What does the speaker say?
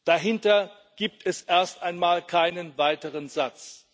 Dahinter gibt es erst einmal keinen weiteren Satz.